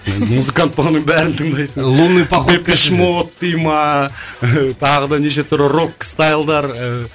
музыкант болғанның кейін бәрін тыңдайсың ғой лунная походка шмот деді ме тағы да неше түрлі рок стайлдар ыыы